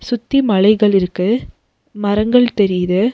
சுத்தி மலைகள் இருக்கு மரங்கள் தெரியுது.